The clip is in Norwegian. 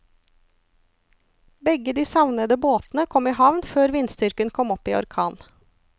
Begge de savnede båtene kom i havn før vindstyrken kom opp i orkan.